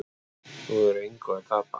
Þú hefur engu að tapa.